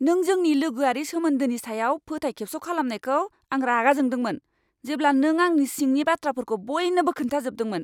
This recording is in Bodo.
नों जोंनि लोगोआरि सोमोन्दोनि सायाव फोथायखेबस' खालामनायखौ आं रागा जोंदोंमोन, जेब्ला नों आंनि सिंनि बाथ्राफोरखौ बयनोबो खोन्थाजोबदोंमोन।